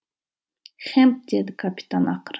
хэмп деді капитан ақыры